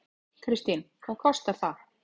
Kristín: Hvað kostar það?